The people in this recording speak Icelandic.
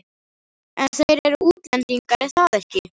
En þeir eru útlendingar, er það ekki?